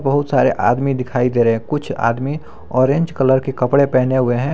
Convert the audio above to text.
बहुत सारे आदमी दिखाई दे रहे हैं कुछ आदमी ऑरेंज कलर के कपड़े पहने हुए हैं।